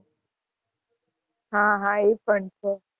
હાં હાં એ પણ છે.